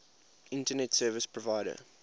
internet service provider